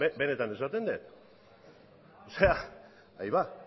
benetan esaten dut